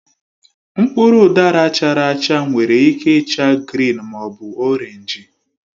Mkpụrụ udara chara achaa nwere ike ịcha grịn ma ọ bụ orenji.